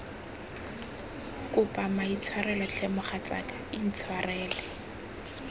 kopa maitshwarelo tlhe mogatsaka intshwarele